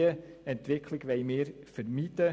Diese Entwicklung wollen wir vermeiden.